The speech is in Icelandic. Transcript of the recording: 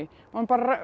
og hann